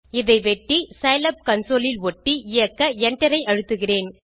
இதை வெட்டி slab console இல் ஒட்டி இயக்க enter ஐ அழுத்துகிறேன்